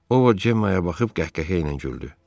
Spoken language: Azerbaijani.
O, Cemma-ya baxıb qəhqəhə ilə güldü.